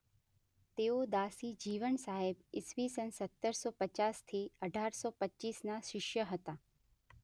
તેઓ દાસી જીવણ સાહેબ ઇસવીસન સત્તર સો પચાસ થી અઢારસો પચીસના શિષ્ય હતા.